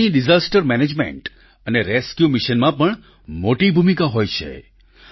ડોગ્સની disaster management અને rescue mission માં પણ મોટી ભૂમિકા હોય છે